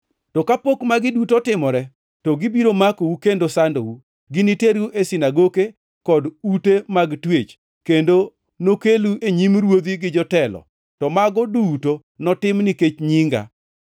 “To kapok magi duto otimore, to gibiro makou kendo sandou. Giniteru e sinagoke kod ute mag twech, kendo nokelu e nyim ruodhi gi jotelo, to mago duto notim nikech nyinga.